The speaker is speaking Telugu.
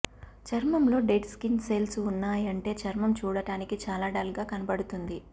చర్మంలో డెడ్ స్కిన్ సెల్స్ ఉన్నాయంటే చర్మం చూడటానికి చాలా డల్ గా కనబడుతుంది